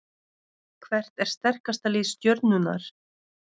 Hvert er sterkasta lið Stjörnunnar?